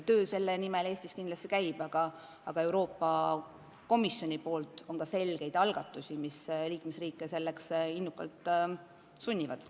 Töö selle nimel Eestis kindlasti käib, aga Euroopa Komisjonil on ka konkreetseid algatusi, mis liikmesriike seda innukalt tegema sunnivad.